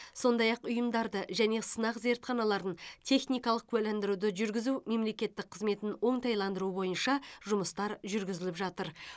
сондай ақ ұйымдарды және сынақ зертханаларын техникалық куәландыруды жүргізу мемлекеттік қызметін оңтайландыру бойынша жұмыстар жүргізіліп жатыр